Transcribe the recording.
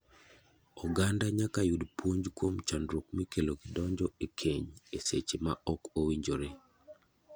Oganda nyaka yud puonj kuom chandruok mikelo gi donjo e keny e seche ma ok owinjore.